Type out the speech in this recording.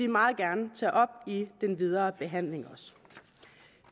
meget gerne tage op i den videre behandling